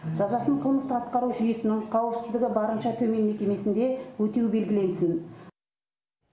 жазасын қылмысты атқару жүйесінің қауіпсіздігі барынша төмен мекемесінде өтеу белгіленсін